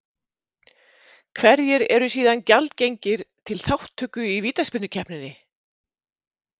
Hverjir eru síðan gjaldgengir til þátttöku í vítaspyrnukeppninni?